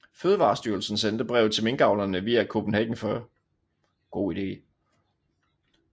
Fødevarestyrelsen sendte brevet til minkavlerne via Kopenhagen Fur